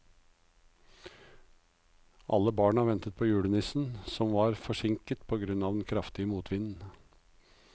Alle barna ventet på julenissen, som var forsinket på grunn av den kraftige motvinden.